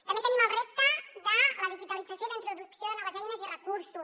també tenim el repte de la digitalització i la introducció de noves eines i recursos